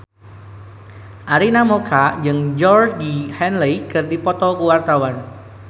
Arina Mocca jeung Georgie Henley keur dipoto ku wartawan